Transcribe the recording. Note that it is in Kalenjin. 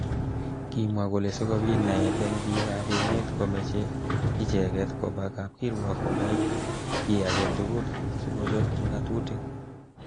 Kimwa kole sikobit naet eng bik ab emet komeche icheket koba kap kirwok konai ki age tugul sikochop ngatutik.